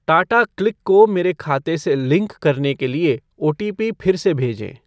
टाटाक्लिक को मेरे खाते से लिंक करने के लिए ओटीपी फिर से भेजें ।